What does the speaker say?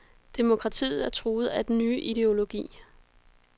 Demokratiet er truet af den nye ideologi.